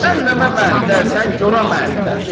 Cəhənnəmə məəttəlsən, gorə məəttəlsən.